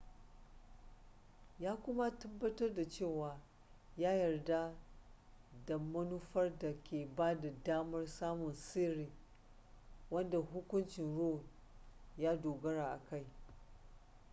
ya kuma tabbatar da cewa ya yarda da manufar da ke bada damar samun sirri wadda hukuncin roe ya dogara a kai